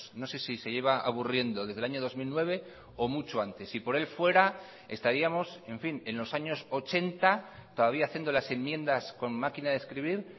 no sé si se lleva aburriendo desde el año dos mil nueve o mucho antes si por él fuera estaríamos en fin en los años ochenta todavía haciendo las enmiendas con máquina de escribir